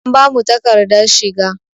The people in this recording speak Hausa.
An bamu takadar shiga.